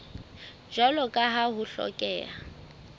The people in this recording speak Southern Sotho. jwalo ka ha ho hlokeha